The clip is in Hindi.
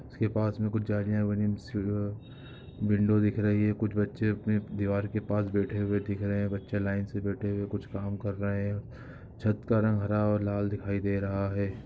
इसके पास में कुछ जालियां बनी विंडो दिख रही है। कुछ बच्चे अपने दीवार के पास बैठे हुए दिख रहे हैं। बच्चे लाइन से बैठे हुए कुछ काम कर रहे हैं। छत का रंग हरा और लाल दिखाई दे रहा है।